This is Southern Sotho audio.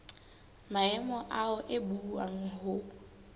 maemo ao e buuwang ho